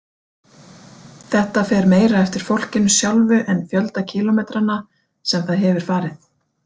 Þetta fer meira eftir fólkinu sjálfu en fjölda kílómetranna sem það hefur farið.